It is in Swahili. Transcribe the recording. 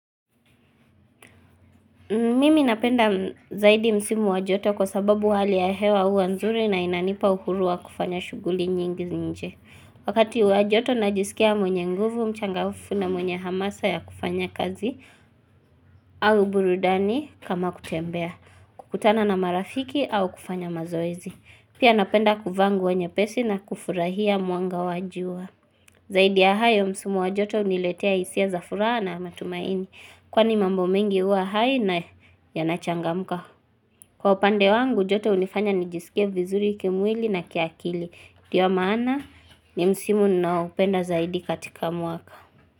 Mimi napenda zaidi msimu wa joto kwa sababu hali ya hewa uwa nzuri na inanipa uhuru wa kufanya shuguli nyingi zinje. Wakati wa joto najisikia mwenye nguvu, mchangaufu na mwenye hamasa ya kufanya kazi au burudani kama kutembea. Kukutana na marafiki au kufanya mazoezi. Pia napenda kufa nguo nyepesi na kufurahia muanga wajua. Zaidi ya hayo msimu wa joto uniletea isia za furaha na matumaini. Kwani mambo mengi uwa hai na yanachangamuka Kwa upande wangu joto unifanya nijisikie vizuri kimwili na kiakili ndiyo maana ni msimu naupenda zaidi katika muaka.